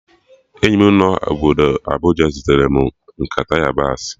Enyi m nọ obodo Abuja zitere m nkata yabasị